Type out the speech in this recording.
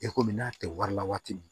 E ko min n'a tɛ wari la waati min